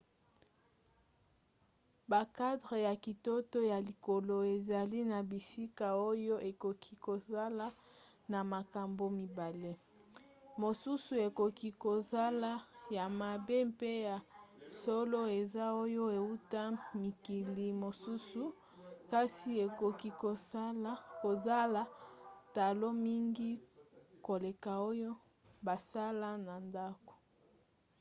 bakadre ya kitoko ya likolo ezali na bisika oyo ekoki kozala na makambo mibale; mosusu ekoki kozala ya mabe mpe ya solo eza oyo euta mikili mosusu kasi ekoki kozala talo mingi koleka oyo basala na ndako